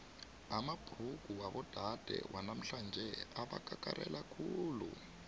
amabhrugu wabodade wanamhlanje abakakarela khulu